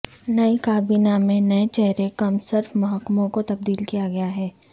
نئی کابینہ میں نئے چہرے کم صرف محکموں کو تبدیل کیا گیا ہے